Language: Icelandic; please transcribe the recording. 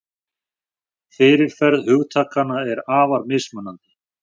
Fyrirferð hugtakanna er afar mismunandi.